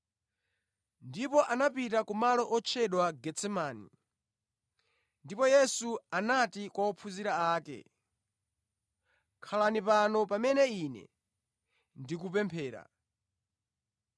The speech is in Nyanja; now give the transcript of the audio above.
Ndipo anapita ku malo otchedwa Getsemani, ndipo Yesu anati kwa ophunzira ake, “Khalani pano pamene Ine ndi kupemphera.”